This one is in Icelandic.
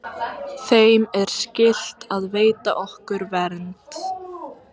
Þeim er skylt að veita okkur vernd.